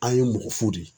An ye mɔgɔ fo de ye